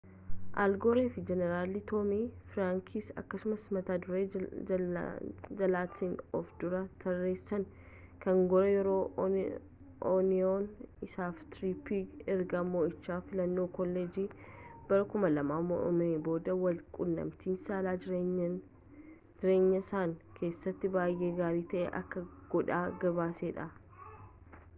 al goore fi jeenaaraalli toomii firaankis akkasumaan mata dure jaallatan of duraa tarreessam kan goore yeroo onion isaafi tripper ergaa mo’iicha filannoo kolleejjii bara 2000 mo’ameen booda wal qunnamti saalaa jireenyasaanii keessatti baayee gaarii ta’e akka godhan gabaaseedha